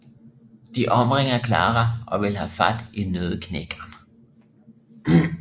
De omringer Clara og vil have fat i Nøddeknækkeren